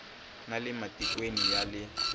na le matikweni ya le